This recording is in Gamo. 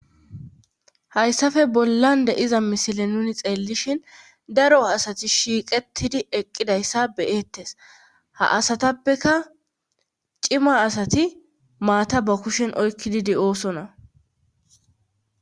hayssafe bollan de'iza misile nuni xeellishin daro asati shiiqettidi eqqidayssa beyettes ha asatappeka cima asati maata ba kushen oykkidi de'osona